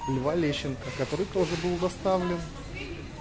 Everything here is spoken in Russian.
льва лещенко который тоже был доставлен